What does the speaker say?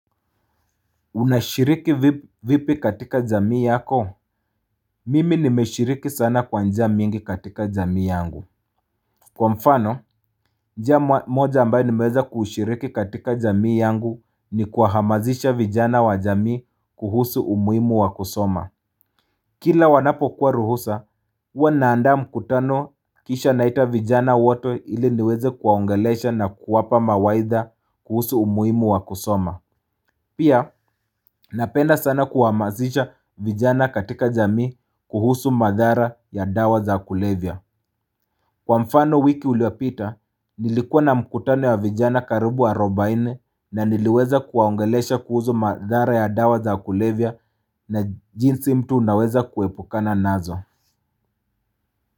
Unashiriki vipi katika jamii yako Mimi nimeshiriki sana kwa njia mingi katika jamii yangu Kwa mfano njia moja ambayo nimeweza kushiriki katika jamii yangu ni kuahamazisha vijana wa jamii kuhusu umuhimu wa kusoma Kila wanapokuwa ruhusa huwa naandamu mkutano kisha naita vijana wato iliniweze kuwaongelesha na kuwapa mawaidha kuhusu umuhimu wa kusoma Pia napenda sana kuhamazisha vijana katika jamii kuhusu madhara ya dawa za kulevya. Kwa mfano wiki iliyopita, nilikuwa na mkutano ya vijana karibu arubaine na niliweza kuwaongelesha kuhusu madhara ya dawa za kulevya na jinsi mtu unaweza kuepukana nazo.